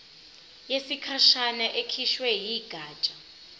yesikhashana ekhishwe yigatsha